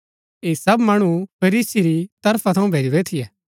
ऐ सब मणु फरीसी री तरफा थऊँ भैजुरै थियै